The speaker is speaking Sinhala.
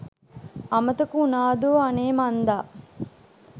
අමතක උනාදෝ අනේ මංදා